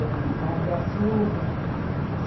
Era um fardo de açúcar, eh.